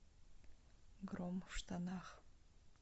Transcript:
гром в штанах